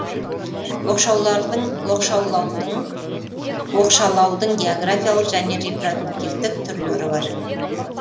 оқшалаудың географиялық және репродуктивтік түрлері бар